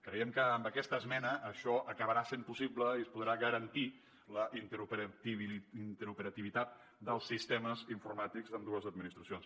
creiem que amb aquesta esmena això acabarà sent possible i es podrà garantir la interoperativitat dels sistemes informàtics d’ambdues administracions